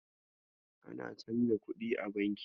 Ana canja kuɗi a banki.